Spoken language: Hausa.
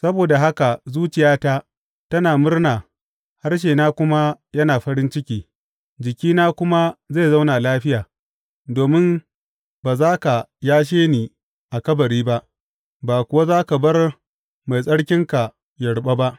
Saboda haka zuciyata tana murna harshena kuma yana farin ciki; jikina kuma zai zauna lafiya, domin ba za ka yashe ni a kabari ba, ba kuwa za ka bar Mai Tsarkinka yă ruɓa ba.